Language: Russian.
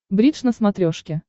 бридж на смотрешке